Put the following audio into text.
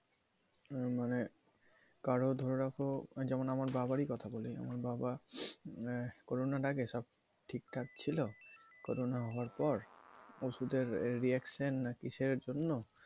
মানে কারো ধরে রাখো যেমন আমার বাবারি কথা বলি আমার বাবা corona আগে সব ঠিক ঠাক ছিল corona হওয়ার পর ওষুধের reaction না কিসের জন্য